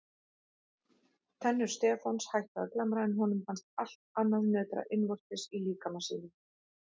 Tennur Stefáns hættu að glamra en honum fannst allt annað nötra innvortis í líkama sínum.